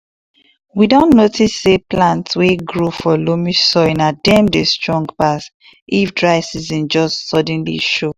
we don notice say plants wey grow for loamy soil na dem dey strong pass if dry season just suddenly show